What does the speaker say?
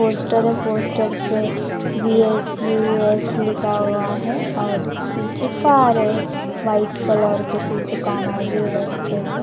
poster है poster पे V S U S लिखा हुआ है और पीछे कार है व्हाइट कलर के कुछ दुकान आये हुए है रस्ते पे --